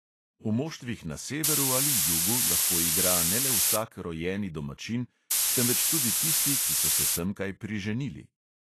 V moštvih na severu ali jugu lahko igra ne le vsak rojeni domačin, temveč tudi tisti, ki so se semkaj priženili.